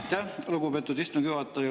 Aitäh, lugupeetud istungi juhataja!